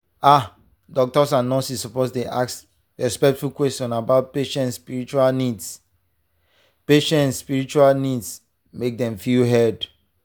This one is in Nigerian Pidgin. ah doctors and nurses suppose dey ask respectful questions about patient spiritual needs patient spiritual needs make dem feel heard.